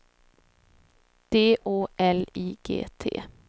D Å L I G T